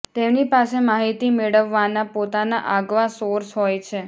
તેમની પાસે માહિતી મેળવવાના પોતાના આગવા સોર્સ હોય છે